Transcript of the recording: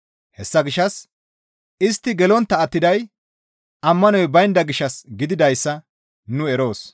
Hessa gishshas istti gelontta attiday ammanoy baynda gishshas gididayssa nu eroos.